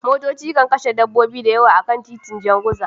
Motoci na kashe dabbobi masu yawa akan titin Jan Guza